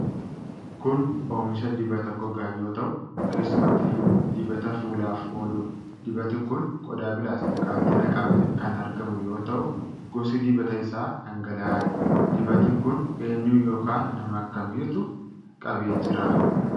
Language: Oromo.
Kun oomisha dibata gogaa yoo ta'u, keessumattiyyuu dibata fuulaaf ooludha. Dibati kun qodaa pilaastikaatti naqamee kan argamu yoo ta'u, gosi dibata isaa dhangala'aadha. Dibati kun eenyu yookiin nama akkamiitu qabee jira?